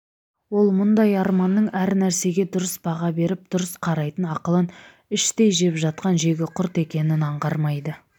ол мұндай арманның әр нәрсеге дұрыс баға беріп дұрыс қарайтын ақылын іштей жеп жатқан жегі құрт екенін аңғармайды